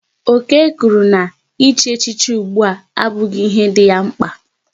Okey kwụrụ na ị chi echichi ụgbụa abughi ihe dị ya mkpa